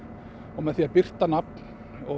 og með því að birta nafn og